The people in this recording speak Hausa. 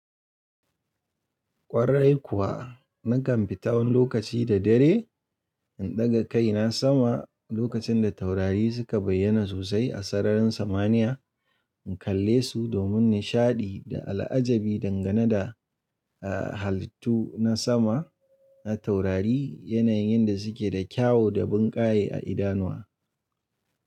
Kwarai kuwa, nakan fita wani lokaci da dare in ɗaga kai na sama lokacin da taurari suka bayyana sosai a sararin samaniya in kalle su domin nishaɗi da al'ajabi dangane da halittu na sama na taurari yanayin da suke da kyau da bunƙaye a idanuwa.